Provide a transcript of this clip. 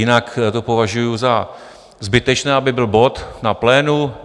Jinak to považuji za zbytečné, aby byl bod na plénu.